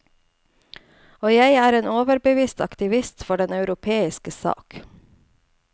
Og jeg er en overbevist aktivist for den europeiske sak.